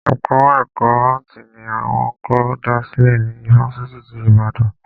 Ẹka ẹ̀kọ́ áàtì ni wọ́n kọ́kọ́ dá sílè ní ifáfitì ti Ìbàdàn.